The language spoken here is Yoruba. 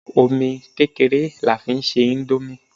Omi kékeré ni a fi ń se índómì